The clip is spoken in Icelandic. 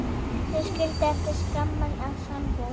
Þau skildu eftir skamma sambúð.